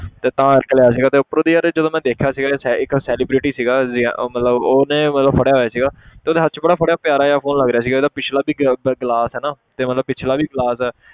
ਤੇ ਤਾਂ ਕਰਕੇ ਲਿਆ ਸੀਗਾ ਤੇ ਉਪਰੋਂ ਦੀ ਯਾਰ ਇਹ ਜਦੋਂ ਮੈਂ ਦੇਖਿਆ ਸੀਗਾ ਇੱਕ ਸੈ~ ਇੱਕ celebrity ਸੀਗਾ ਮਤਲਬ ਉਹਨੇ ਮਤਲਬ ਫੜਿਆ ਹੋਇਆ ਸੀਗਾ ਤੇ ਉਹਦੇ ਹੱਥ 'ਚ ਬੜਾ ਫੜਿਆ ਪਿਆਰਾ ਜਿਹਾ phone ਲੱਗ ਰਿਹਾ ਸੀ ਉਹਦਾ ਪਿੱਛਲਾ ਵੀ glass ਹੈ ਨਾ ਤੇ ਮਤਲਬ ਪਿੱਛਲਾ ਵੀ glass